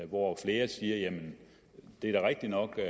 hvor flere siger jamen det er da rigtig nok at